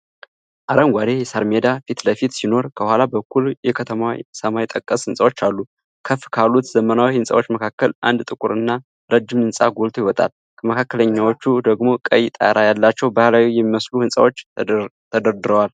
አረንጓዴ የሳር ሜዳ ፊት ለፊት ሲኖር፣ ከኋላ በኩል የከተማዋ ሰማይ ጠቀስ ሕንፃዎች አሉ። ከፍ ካሉት ዘመናዊ ሕንፃዎች መካከል አንድ ጥቁር እና ረጅም ህንፃ ጎልቶ ይወጣል። ከመካከለኛዎቹ ደግሞ ቀይ ጣራ ያላቸው ባህላዊ የሚመስሉ ህንፃዎች ተደርድረዋል።